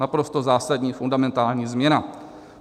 Naprosto zásadní, fundamentální změna.